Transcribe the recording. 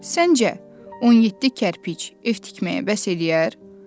Səncə, 17 kərpic ev tikməyə bəs eləyər?